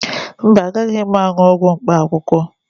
Mba, agaghị m aṅụ ọgwụ mkpaakwụkwọ